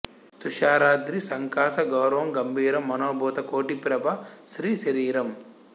తుషారాద్రి సంకాశ గౌరం గభీరం మనోభూత కోటిప్రభా శ్రీ శరీరమ్